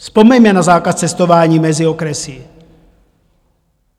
Vzpomeňme na zákaz cestování mezi okresy.